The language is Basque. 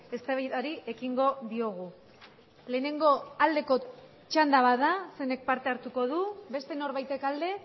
eztabaidari ekingo diogu lehenengo aldeko txanda bat da zeinek parte hartuko du beste norbaitek alde